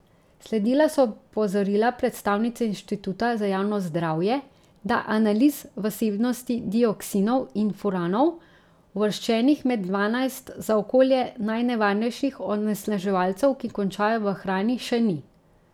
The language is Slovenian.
Sledila so opozorila predstavnice inštituta za javno zdravje, da analiz vsebnosti dioksinov in furanov, uvrščenih med dvanajst za okolje najnevarnejših onesnaževalcev, ki končajo v hrani, še ni.